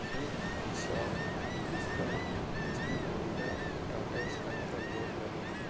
एक शॉप जिसका जिसमें ओनिडा टाटा स्काइ का बोर्ड लगा हुआ --